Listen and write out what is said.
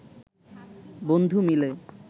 বন্ধু মিলে